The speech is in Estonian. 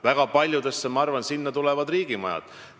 Ma arvan, et väga paljudesse tulevadki riigimajad.